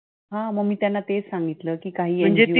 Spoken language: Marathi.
हा मग मी त्यांना तेच सांगितलं.